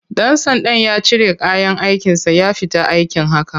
Ɗan sandan ya cire kayan aikinsa ya fita aiki haka.